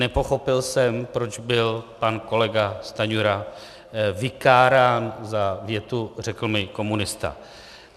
Nepochopil jsem, proč byl pan kolega Stanjura vykárán za větu "řekl mi komunista".